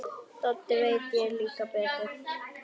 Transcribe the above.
Doddi veit líklega betur.